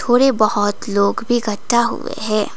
और ये बहुत लोग भी इकट्ठा हुए है।